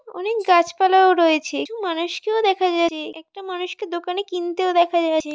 অনেক গাছপালা-ও রয়েছে একটি মানুষকেও দেখা যাচ্ছে একটা মানুষকে দোকানে কিনতেও দেখা যাচ্ছে।